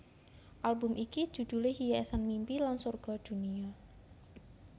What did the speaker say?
Album iki judhulé Hiasan Mimpi lan Sorga Dunia